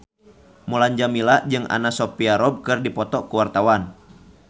Mulan Jameela jeung Anna Sophia Robb keur dipoto ku wartawan